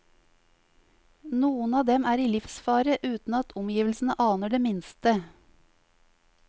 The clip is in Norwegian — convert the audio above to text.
Noen av dem er i livsfare uten at omgivelsene aner det minste.